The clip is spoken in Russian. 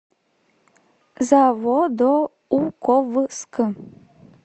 заводоуковск